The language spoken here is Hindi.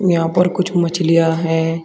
यहां पर कुछ मछलियां है।